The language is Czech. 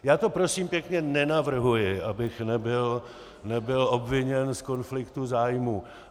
Já to prosím pěkně nenavrhuji, abych nebyl obviněn z konfliktu zájmů.